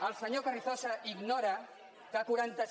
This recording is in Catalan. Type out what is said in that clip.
el senyor carrizosa ignora que quaranta